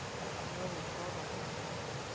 ya ho fa bangga ba